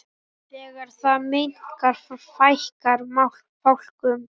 Þegar það minnkar fækkar fálkum.